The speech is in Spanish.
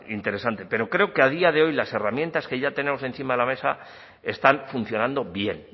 interesante pero creo que a día de hoy las herramientas que ya tenemos encima de mesa están funcionando bien